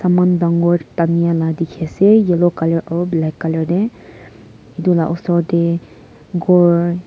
saman dangor tanials dikhiase yellow color aro black color tey itu la osor tey ghor.